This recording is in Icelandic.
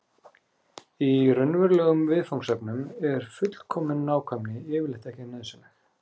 í raunverulegum viðfangsefnum er fullkomin nákvæmni yfirleitt ekki nauðsynleg